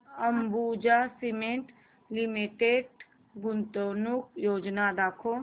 Ambuja cement limited गुंतवणूक योजना दाखव